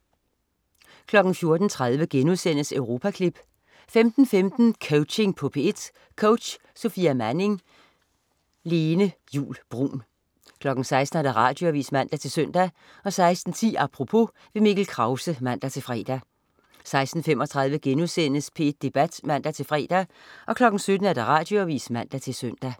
14.30 Europaklip* 15.15 Coaching på P1. Coach: Sofia Manning. Lene Juul Bruun 16.00 Radioavis (man-søn) 16.10 Apropos. Mikkel Krause (man-fre) 16.35 P1 Debat* (man-fre) 17.00 Radioavis (man-søn)